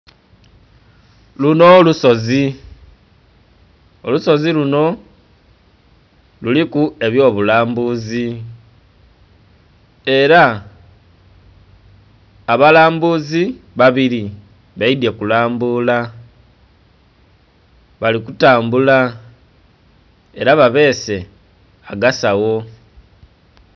Lunho lusozi, olusozi lunho kuliku ebyo bulambuzi era abalambuzi babili baidhye okulambula bali kutambula era babese aga sawo.